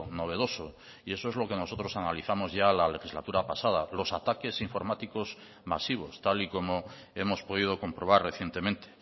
novedoso y eso es lo que nosotros analizamos ya la legislatura pasada los ataques informáticos masivos tal y como hemos podido comprobar recientemente